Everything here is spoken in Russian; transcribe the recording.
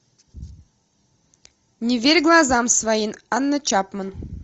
не верь глазам своим анна чапман